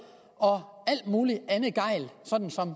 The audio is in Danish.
og alt muligt andet gejl